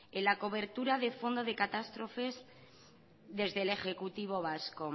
en la cobertura de fondo de catástrofes desde el ejecutivo vasco